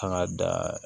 Kan ka da